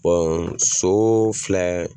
Bɔn soo filɛ